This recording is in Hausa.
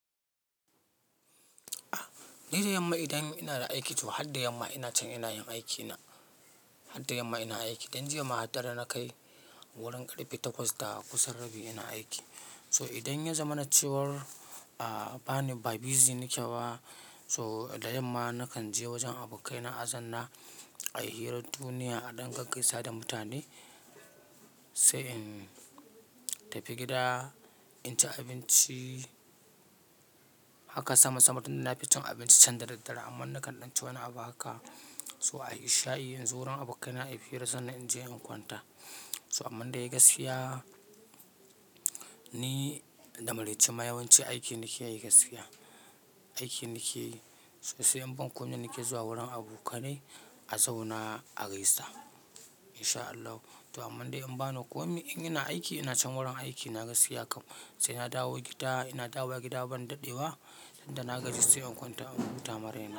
Nida yamma idan ina da aiki to har da yamma ina can ina yin aikina. Har da yamma ina aiki. Dan jiya ma hadar da na kai wurin karfe takwas da kusan rabi ina aiki. So idan ya zama na cewar, ah, bani ba busy nakeba, so da yamma nakan je wajen abokaina azanna a yi hirar duniya, a ɗan gaggaisa da mutane. Sai in tafi gida, in ci abinci. Haka sama sama tun da na fi cin abinci can da daddara. Amma na kan danci wani abu haka. So a yi sha'i, in zuwa wurin abokaina a yi hira sannan in je in kwanta. So amman da yayi gaskiya ni da maraice ma yawanci aiki nake yi gaskiya. Aiki nakeyi, sosai in ban komai nake zuwa wurin abokanai a zauna a gaisa. In sha Allah. To amman dai in bani komai in ina aiki ina can wurin aiki na gaskiya kam. Sai na dawo gida, ina dawo gida ban daɗewa. Da na gaji sai in kwanta in huta marai na.